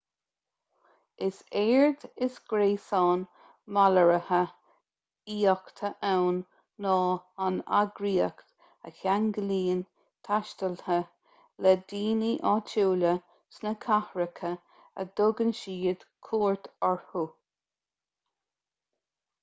is éard is gréasán malartaithe aíochta ann ná an eagraíocht a cheanglaíonn taistealaithe le daoine áitiúla sna cathracha a dtugann siad cuairt orthu